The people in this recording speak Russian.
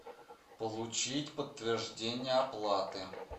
получить подтверждение оплаты